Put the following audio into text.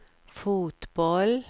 fotboll